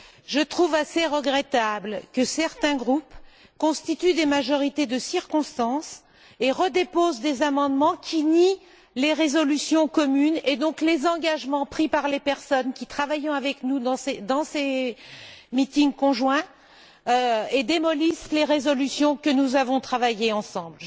Je trouve assez regrettable que certains groupes constituent des majorités de circonstance et redéposent des amendements qui nient les résolutions communes et donc les engagements pris par les personnes qui travaillent avec nous dans ces réunions conjointes et qui démolissent les résolutions que nous avons élaborées ensemble.